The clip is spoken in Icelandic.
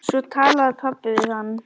Svo talaði pabbi við hann.